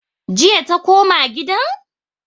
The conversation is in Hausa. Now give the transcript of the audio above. Jiya ta koma gidan?